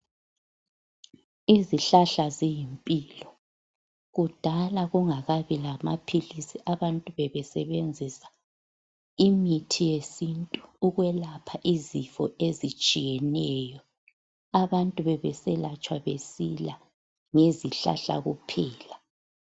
Izihlahla ziyimpilo, kudala kungakabi lamaphilisi abantu bebesebenzisa imithi yesintu ukwelapha izifo ezitshiyeneyo. Abantu bebeselatshwa besila ngezihlahla kuphela.